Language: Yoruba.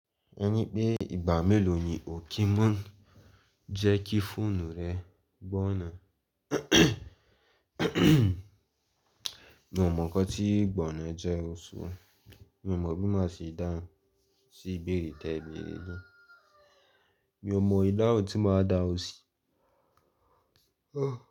Ẹni pé ìgbà mélòó ni o kí mọ n jẹ́ kí fóònù rẹ gbọná. Mi ò mọ nǹkan tí gbọná jẹ́ o so. Mi ò mọ̀ bí má ṣe dáhùn sí ìbéèrè tẹ bi mi. Mi ò mọ ìdáhùn tí màá dáhùn sí.